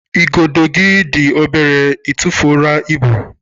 Igodo gị dị obere, ị tụfuru ibu?